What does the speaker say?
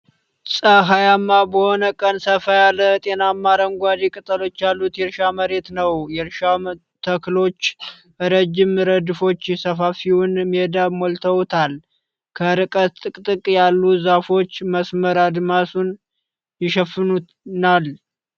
ፀሐያማ በሆነ ቀን ሰፋ ያለ፣ ጤናማ አረንጓዴ ቅጠሎች ያሉት የእርሻ መሬት ነው። የእርሻው ተክሎች ረጅም ረድፎች ሰፋፊውን ሜዳ ሞልተውታል። ከርቀት ጥቅጥቅ ያሉ ዛፎች መስመር አድማሱን ይሸፍናል።